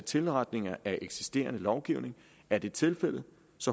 tilretning af eksisterende lovgivning er det tilfældet